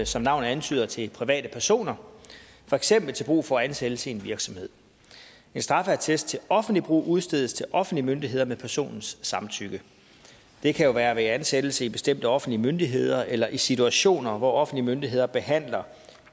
som navnet antyder til private personer for eksempel til brug for ansættelse i en virksomhed en straffeattest til offentligt brug udstedes til offentlige myndigheder med personens samtykke det kan være ved ansættelse i bestemte offentlige myndigheder eller i situationer hvor offentlige myndigheder behandler